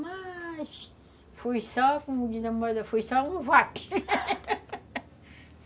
Mas foi só, como diz a moda, foi só um vape